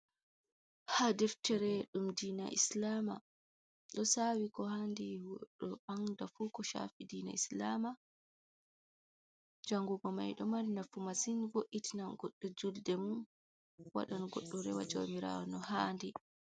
Ha deftere ɗum diina islama, ɗo sawi ko handi goɗɗo anda fu ko chafi diina islama, jangugo mai ɗo mari nafu massin voitinan goɗɗo julde mum waɗan goɗɗo rewa jawmirawo no handi.